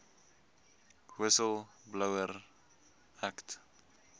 whistle blower act